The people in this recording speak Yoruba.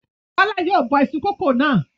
Bọ́lá yóò bọ iṣu kòkó náà.